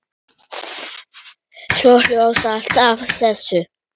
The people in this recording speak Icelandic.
Svo hlóstu alltaf að þessu.